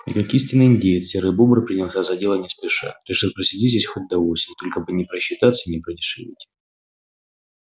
и как истинный индеец серый бобр принялся за дело не спеша решив просидеть здесь хоть до осени только бы не просчитаться и не продешевить